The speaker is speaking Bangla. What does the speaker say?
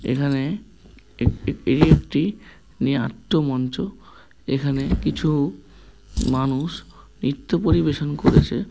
এখানে একটি এই একটি নিয়ে আত্ম মঞ্চ এখানে কিছু মানুষ নৃত্য পরিবেশন করেছে।